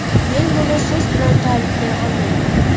Men buni so‘z bilan ta’riflay olmayman.